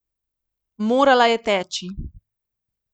Morala je teči.